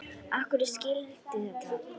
Af hverju skyldi þetta vera?